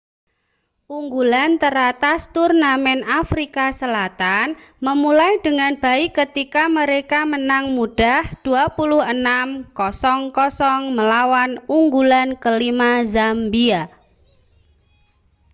unggulan teratas turnamen afrika selatan memulai dengan baik ketika mereka menang mudah 26 00 melawan unggulan ke-5 zambia